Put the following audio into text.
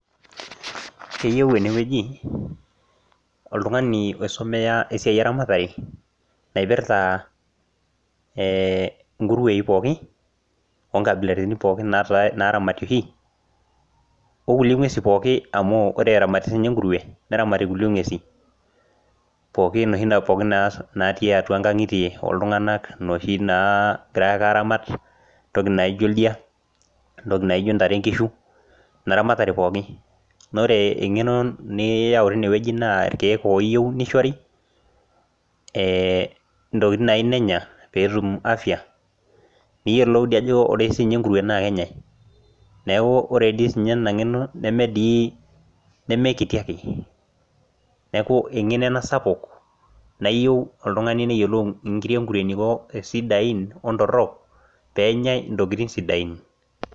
Keyieu ene wueji oltungani oisomea esiai eramatare, naipirta ee inkuruei pooki, oo nkabilaritin pookin naaramati oshi. onkulie nguesi pooki amu ore eramatii sii ninye enkurue, onkulie nguesi. pookin oshi. naatii atua, nkang'itie oltunganak inoshi naa naagirae aaramat. entoki naijo ntare nkishu, naa ore eng'eno niyau teine wueji naa entoki nayieu nenya peetum, afia. pee iyiolou. neeku ore dii ninye ena ng'eno nemekiti ake, neeku eng'eno ena sapuk naa iyieu oltungani neyiolou inkiri enkurue eneiko sidain ontorok pee enyae intokitin sidain